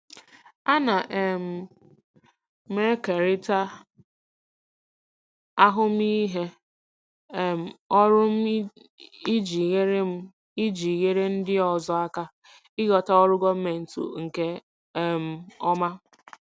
Ana um m ekerịta ahụmịhe um ọrụ m iji nyere m iji nyere ndị ọzọ aka ịghọta ọrụ gọọmentị nke um ọma.